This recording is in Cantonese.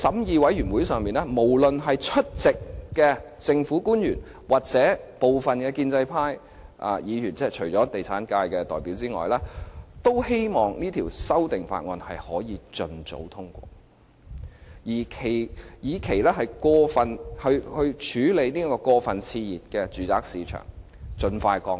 在法案委員會上，無論是出席的政府官員或部分建制派議員，除了地產界的代表之外，均希望可以盡早通過《條例草案》，以便過分熾熱的住宅市場可以盡快降溫。